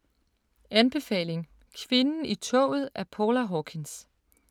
Anbefaling: Kvinden i toget af Paula Hawkins